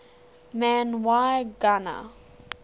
man y gana